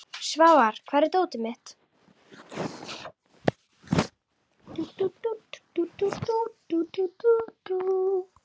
Svafar, hvar er dótið mitt?